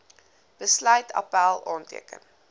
besluit appèl aanteken